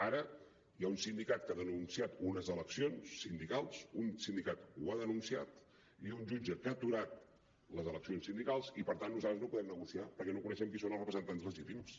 ara hi ha un sindicat que ha denunciat unes eleccions sindicals un sindicat ho ha denunciat i un jutge ha aturat les eleccions sindicals i per tant nosaltres no podem negociar perquè no coneixem quins són els representants legítims